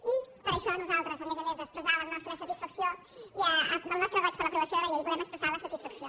i per això nosaltres a més a més d’expressar el nostre goig per l’aprovació de la llei volem expressar la satisfacció